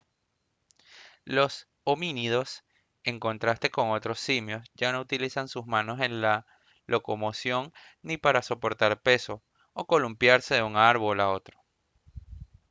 los homínidos en contraste con otros simios ya no utilizan sus manos en la locomoción ni para soportar peso o columpiarse de un árbol a otro